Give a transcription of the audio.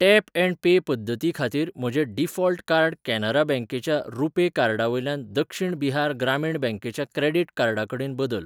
Tap and pay पद्दती खातीर म्हजें डिफॉल्ट कार्ड कॅनरा बँकेच्या रुपे कार्डावयल्यान दक्षिण बिहार ग्रामीण बँकेच्या क्रेडिट कार्डा कडेन बदल.